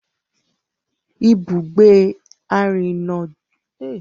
Ibugbe arinrinajo Ososo je ibi ifiṣura ere ti owa ni orile-ede Edo.